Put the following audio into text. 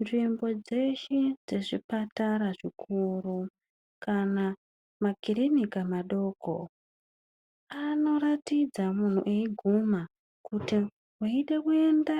Nzvimbo dzeshe dzezvipatara zvikuru kana makiriniki madoko anoratidza muntu eiguma kuti kana weide kuenda